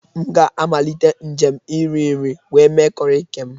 M ga-amalite njem nri nri wee mee corrie nke m.